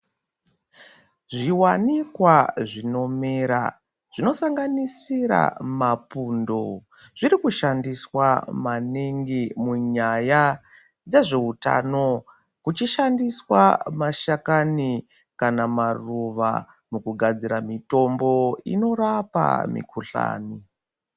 Zviwanikwa zvinomera zvinosanganisira mapundo zvirikushandiswa maningi munyaya dzezveutano kuchishandiswa mashakani kana maruva mukugadzira mitombo inorapa mikhuhlani.